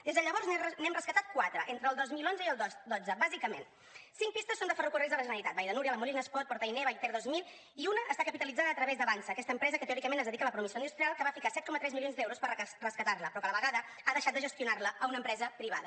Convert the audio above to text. des de llavors n’hem rescatat quatre entre el dos mil onze i el dotze bàsicament cinc pistes són de ferrocarrils de la generalitat vall de núria la molina espot port ainé vallter dos mil i una està capitalitzada a través de avançsa aquesta empresa que teòricament es dedica a la promoció industrial que va ficar tres coma set milions d’euros per rescatar la però que a la vegada ha deixat gestionar la a una empresa privada